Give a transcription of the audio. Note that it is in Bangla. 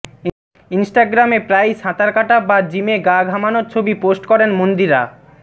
ইনস্টাগ্রামে প্রায়ই সাঁতার কাটা বা জিমে গা ঘামানোর ছবি পোস্ট করেন মন্দিরা